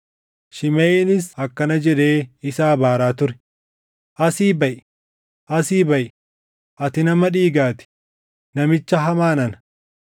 Shimeʼiinis akkana jedhee isa abaaraa ture; “Asii baʼi; asii baʼi; ati nama dhiigaa ti; namicha hamaa nana!